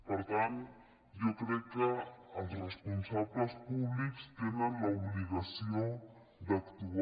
per tant jo crec que els responsables públics tenen l’obligació d’actuar